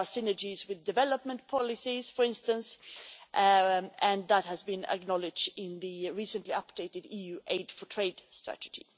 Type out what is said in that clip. There are synergies with development policies, for instance, and that has been acknowledged in the recently updated EU Aid for Trade strategy.